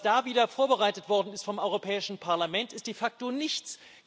Was da wieder vorbereitet worden ist vom Europäischen Parlament, ist de facto nichts.